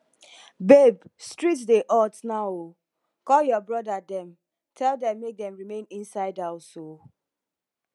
babe street dey hot now oo call your your brother dem tell dem make dem remain inside house oo